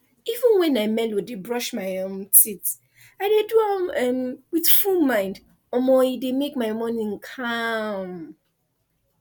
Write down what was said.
even when i melow dey brush my um teeth i dey do am um with full mind um e dey make my morning calm